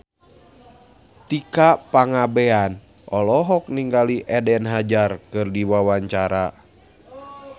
Tika Pangabean olohok ningali Eden Hazard keur diwawancara